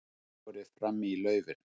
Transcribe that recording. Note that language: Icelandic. Borið fram í laufinu